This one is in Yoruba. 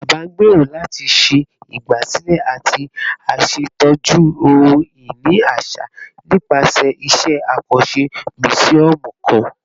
Baba ngbero lati ṣe igbasilẹ ati ṣetọju ohun-ini aṣa nipasẹ iṣẹ akanṣe musiọmu kan